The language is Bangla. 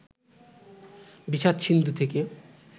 বিষাদ-সিন্ধু থেকে